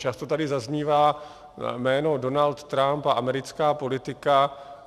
Často tady zaznívá jméno Donald Trump a americká politika.